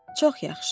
Çox yaxşı.